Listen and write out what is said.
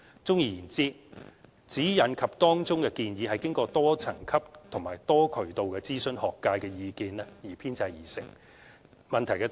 綜而言之，《指引》及當中的建議是經過多層級及多渠道諮詢學界意見等編製而成。